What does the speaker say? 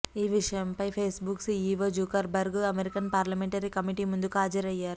ఈ విషయమై Facebook CEO Zuckerberg American parliamentary committee ముందుకు హజరయ్యారు